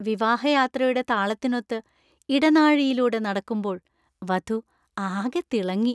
വിവാഹയാത്രയുടെ താളത്തിനൊത്ത് ഇടനാഴിയിലൂടെ നടക്കുമ്പോൾ വധു ആകെ തിളങ്ങി.